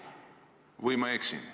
Või ma eksin?